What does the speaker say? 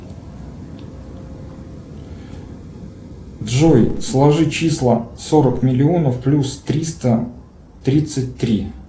джой сложи числа сорок миллионов плюс триста тридцать три